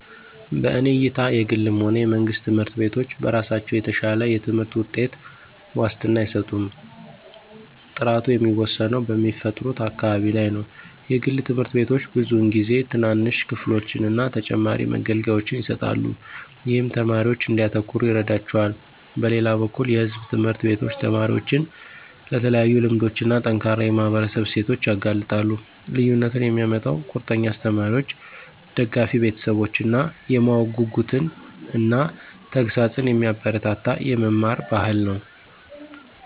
በእኔ እይታ የግልም ሆነ የመንግስት ትምህርት ቤቶች በራሳቸው የተሻለ የትምህርት ውጤት ዋስትና አይሰጡም። ጥራቱ የሚወሰነው በሚፈጥሩት አካባቢ ላይ ነው. የግል ትምህርት ቤቶች ብዙውን ጊዜ ትናንሽ ክፍሎችን እና ተጨማሪ መገልገያዎችን ይሰጣሉ, ይህም ተማሪዎች እንዲያተኩሩ ይረዳቸዋል. በሌላ በኩል የሕዝብ ትምህርት ቤቶች ተማሪዎችን ለተለያዩ ልምዶች እና ጠንካራ የማህበረሰብ እሴቶች ያጋልጣሉ። ልዩነቱን የሚያመጣው ቁርጠኛ አስተማሪዎች፣ ደጋፊ ቤተሰቦች እና የማወቅ ጉጉትን እና ተግሣጽን የሚያበረታታ የመማር ባህል ነው።